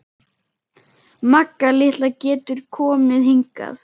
Magga litla getur komið hingað.